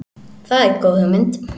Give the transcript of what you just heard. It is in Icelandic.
Það er góð hugmynd.